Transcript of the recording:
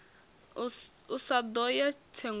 a sa ḓo ya tsengoni